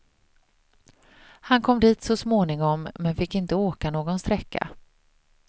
Han kom dit så småningom, men fick inte åka någon sträcka.